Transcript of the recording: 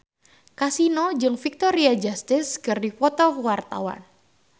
Kasino jeung Victoria Justice keur dipoto ku wartawan